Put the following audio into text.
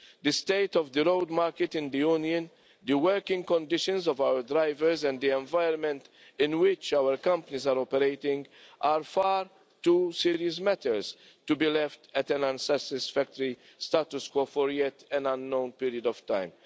The state of the road market in the Union, the working conditions of our drivers and the environment in which our companies are operating are far too serious matters to be left at an unsatisfactory status quo for an as yet unknown period of time.